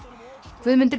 Guðmundur